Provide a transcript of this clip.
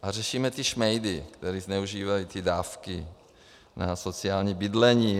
A řešíme ty šmejdy, kteří zneužívají ty dávky na sociální bydlení.